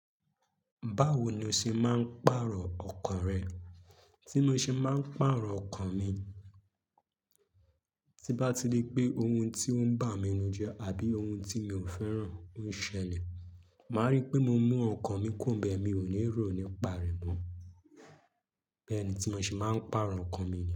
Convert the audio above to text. Báwo ni o ṣe máa ń pàrọ̀ ọkàn rẹ? Tí mo ṣe máa ń pàrọ̀ ọkàn mi, tí n bá ti ri pé ohun tí ó ń bà mí ninu jẹ́ àbí ohun tí mi ò fẹ́ràn ń ṣẹlẹ̀, màá rí pé mo mú ọkàn mi kuro nbẹ̀, mi ò ní rò nípa rẹ̀ mọ́. Bẹ́ẹ̀ ni tí mo ṣe máa ń pàrọ̀ ọkàn mi.